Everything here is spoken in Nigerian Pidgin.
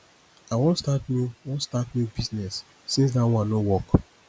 i wan start new wan start new business since dat one no work